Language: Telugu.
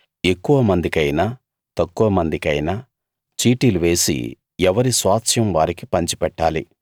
ఎక్కువ మందికైనా తక్కువ మందికైనా చీటీలు వేసి ఎవరి స్వాస్థ్యం వారికి పంచిపెట్టాలి